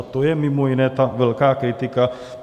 A to je mimo jiné ta velká kritika.